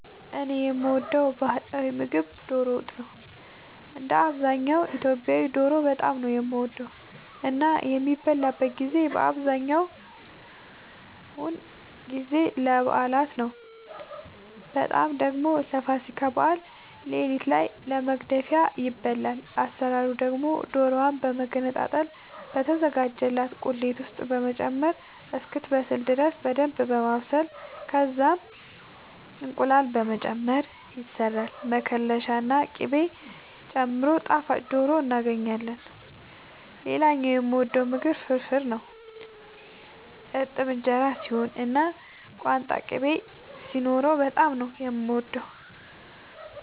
እኔ የምወደው ባህላዊ ምግብ ዶሮ ወጥ ነው። እንደ አብዛኛው ኢትዮጵያዊ ዶሮ በጣም ነው የምወደው እና የሚበላበትን ጊዜ አብዛኛውን ጊዜ ለበዓላት ነው በጣም ደግሞ ለፋሲካ በዓል ሌሊት ላይ ለመግደፊያ ይበላል። አሰራሩ ደግሞ ዶሮዋን በመገነጣጠል በተዘጋጀላት ቁሌት ውስጥ በመጨመር እስክትበስል ድረስ በደንብ በማብሰል ከዛም እንቁላል በመጨመር ይሰራል መከለሻ ና ቅቤ ጨምሮ ጣፋጭ ዶሮ እናገኛለን። ሌላኛው የምወደው ምግብ ፍርፍር ነው። እርጥብ እንጀራ ሲሆን እና ቋንጣ ቅቤ ሲኖረው በጣም ነው የምወደው።